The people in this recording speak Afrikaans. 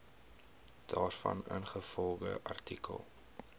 daarvan ingevolge artikel